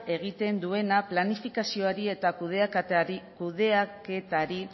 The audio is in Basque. egiten duena planifikazioari eta kudeaketari